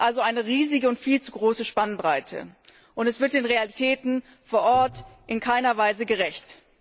Das ist also eine riesige und viel zu große Spannbreite, und das wird den Realitäten vor Ort in keiner Weise gerecht.